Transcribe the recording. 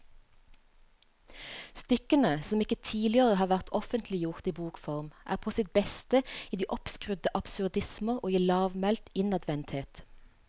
Stykkene, som ikke tidligere har vært offentliggjort i bokform, er på sitt beste i de oppskrudde absurdismer og i lavmælt innadvendthet.